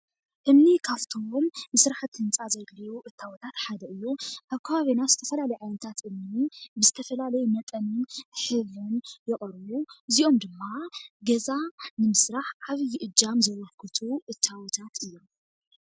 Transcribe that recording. እምኒ ካብቶም ንስራሕቲ ህንፃ ዘድልዩ እታወታት ሓደ እዩ ።ኣብ ከባቢና ዝተፈላለዩ ዓይነታት እምኒ ምስ ዝተፈላለዩ መጠን ሼብን ዝቐርቡ እዚኦም ድማ ገዛ ንምስራሕ ዓብዪ እጃም ዘበርክቱ እታወታት እዮም።